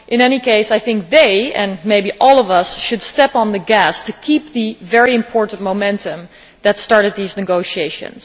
In any case, I think that they and maybe all of us should step on the gas to keep the very important momentum that started these negotiations.